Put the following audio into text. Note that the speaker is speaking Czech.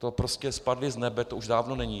To prostě spadli s nebe, to už dávno není.